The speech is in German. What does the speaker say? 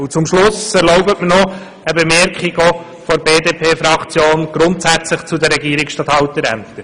Zum Schluss erlauben Sie mir seitens der BDP-Fraktion noch eine grundsätzliche Bemerkung zu den Regierungsstatthalterämtern.